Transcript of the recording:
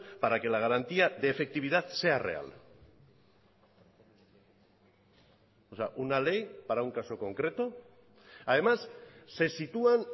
para que la garantía de efectividad sea real o sea una ley para un caso concreto además se sitúan